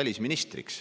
välisministriks.